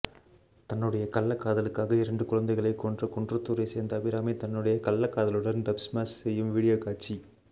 தன்னுடைய கள்ளகாதலுக்காக இரண்டுக்கு குழந்தைகளை கொன்ற குன்றத்தூரை சேர்ந்த அபிராமி தன்னுடைய கள்ளக்காதலனுடன் டப்ஷ்மேஷ் செய்யும் வீடியோ காட்சி